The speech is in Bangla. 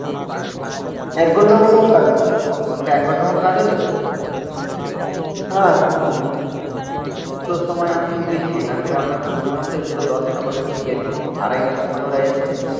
এক ঘন্টার মতো কাজ হলো ওটা এক ঘন্টা মতো কাজ হলো হ্যাঁ দুটোর সময় আমি উঠেছি এখান থেকে আমরা দুটোর সময় উঠে দুটো দশে না কতই তুই গেলি. আড়াইটার সময় ওরা এসছে